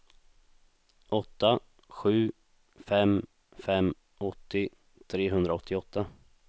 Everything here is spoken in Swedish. åtta sju fem fem åttio trehundraåttioåtta